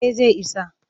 Eh zai isa